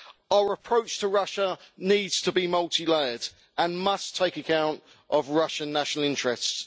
Our approach to Russia needs to be multi layered and must take account of Russian national interests.